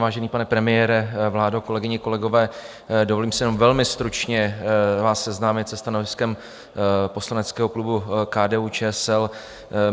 Vážený pane premiére, vládo, kolegyně, kolegové, dovolím si jenom velmi stručně vás seznámit se stanoviskem poslaneckého klubu KDU-ČSL.